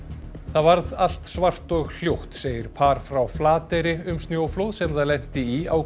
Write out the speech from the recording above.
það varð allt svart og hljótt segir par frá Flateyri um snjóflóð sem það lenti í á